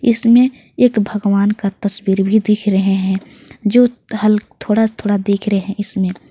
इसमें एक भगवान का तस्वीर भी दिख रहे है जो हल थोड़ा थोड़ा दिख रहे हैं इसमें।